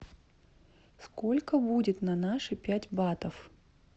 сколько будет на наши пять батов